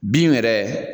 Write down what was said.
Bin yɛrɛ